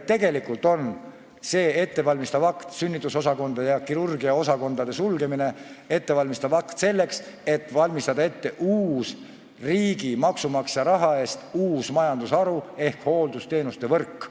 Tegelikult on sünnitusosakondade ja kirurgiaosakondade sulgemine ettevalmistav akt selleks, et luua riigi, maksumaksja raha eest uus majandusharu ehk hooldusteenuste võrk.